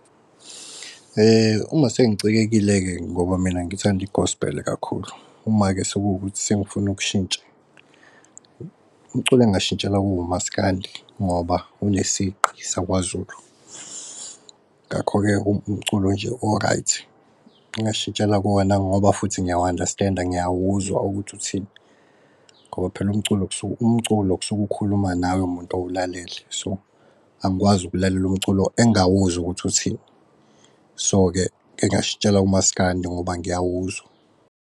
Uma sengicikekile-ke ngoba mina ngithanda i-Gospel kakhulu. Uma-ke sekuwukuthi sengifuna ukushintsha umculo engashitshela kuwo uMasikandi ngoba unesigqi sakwaZulu. Ngakho-ke umculo nje o-right, ngingashitshela kuwona ngoba futhi ngiyawu-understand-a, ngiyawuzwa ukuthi uthini ngoba phela umculo kusuke ukukhuluma nawe muntu owulalele, so angikwazi ukulalela umculo engawuzwa ukuthi uthini. So-ke ngingashitshela kuMaskandi ngoba ngiyawuzwa.